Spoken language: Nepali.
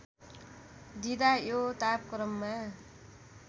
दिँदा यो तापक्रममा